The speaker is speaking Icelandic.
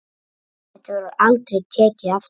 Þetta verður aldrei tekið aftur.